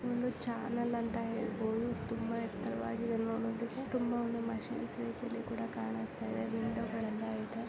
ಒಂದು ಚಾನಲ್ ಅಂತ ಹೇಳ್ ಬೋದು ತುಂಬ ಎತ್ತರವಾಗಿರುವಂತದ್ದು ತುಂಬ ಮಷೀನ್ ಶೇಪ್ ಅಲ್ ಕೂಡ ಕಾಣಿಸ್ತಾ ಇದೆ ವಿಂಡೋಗಳೆಲ್ಲ ಇದೆ .